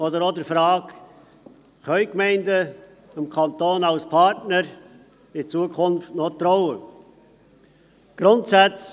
Es geht auch um die Frage, ob die Gemeinden dem Kanton als Partner in Zukunft noch vertrauen können.